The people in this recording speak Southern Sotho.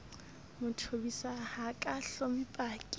mathobisa ho ka hloma paki